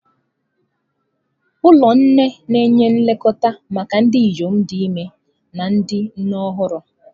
Ụlọ nne na-enye nlekọta maka ndị inyom dị ime na ndị nne ọhụrụ.